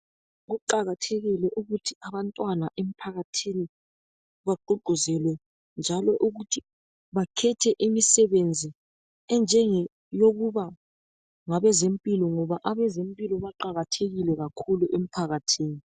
Kuqakathekile ukuthi abantwana emphakathini baqhuqhuzelwe njalo ukuthi bakhethe imisibenza enjenge yokuba ngabezempilo ngoba abezempilo baqakathekile kakhulu emkhathini.